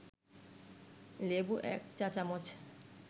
লেবু ১ চা-চামচ